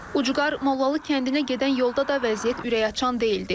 Ucqar Mollalı kəndinə gedən yolda da vəziyyət ürəkaçan deyildi.